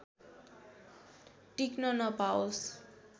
टिक्न नपाओस्